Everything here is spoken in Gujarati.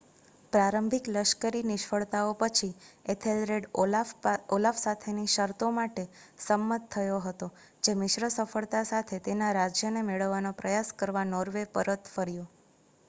પ્રારંભિક લશ્કરી નિષ્ફળતાઓ પછી એથેલરેડ ઓલાફ સાથેની શરતો માટે સંમત થયો હતો, જે મિશ્ર સફળતા સાથે તેના રાજ્યને મેળવવાનો પ્રયાસ કરવા નોર્વે પરત ફર્યો